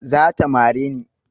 Zata mare ni